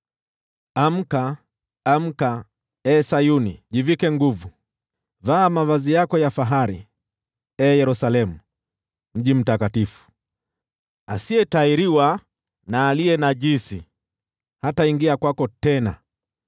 Amka, amka, ee Sayuni, jivike nguvu. Vaa mavazi yako ya fahari, ee Yerusalemu, mji mtakatifu. Asiyetahiriwa na aliye najisi hataingia kwako tena.